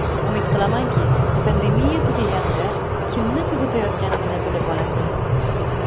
Umid qilamanki, pandemiya tugaganida kimni kuzatayotganimni bilib olasiz.